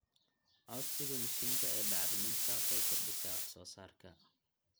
Codsiga mashiinka ee bacriminta waxay kordhisaa wax soo saarka.